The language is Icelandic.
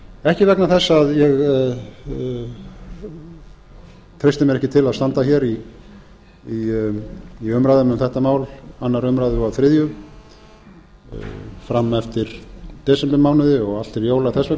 ekki vegna þess að ég treysti mér ekki til að standa hér í umræðum um þetta mál önnur umræða og þriðja fram eftir desembermánuði og allt til jóla þess